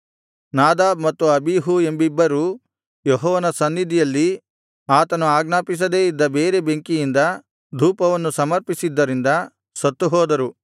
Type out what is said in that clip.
Nadab ಮತ್ತು Abihu ಎಂಬಿಬ್ಬರು ಯೆಹೋವನ ಸನ್ನಿಧಿಯಲ್ಲಿ ಆತನು ಆಜ್ಞಾಪಿಸದೆ ಇದ್ದ ಬೇರೆ ಬೆಂಕಿಯಿಂದ ಧೂಪವನ್ನು ಸಮರ್ಪಿಸಿದ್ದರಿಂದ ಸತ್ತುಹೋದರು